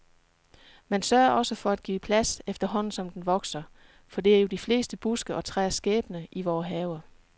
Man sørger også for at give plads, efterhånden som den vokser, for det er jo de fleste buske og træers skæbne i vore haver.